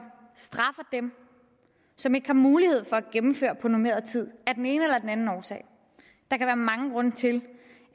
straffer dem som ikke har mulighed for at gennemføre på normeret tid af den ene eller den anden årsag der kan være mange grunde til